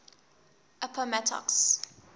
appomattox